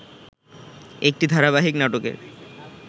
একটি ধারাবাহিক নাটকের